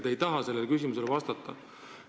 Te ei taha sellele küsimusele vastata.